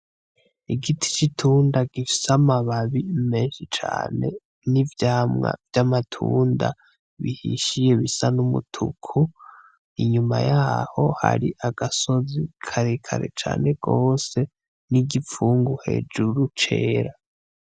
Igiti c'itunda gifise amababi menshi cane n'ivyamwa vy'amatunda bihishiye bisa n'umutuku inyuma yaho hari agasozi karekare cane gose n'igipfungu hejuru cera